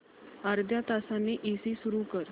अर्ध्या तासाने एसी सुरू कर